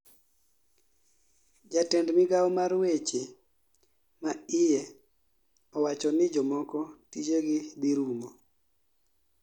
jatend Migao mar weche ma iye owachoni jomoko tijegi dhi rumo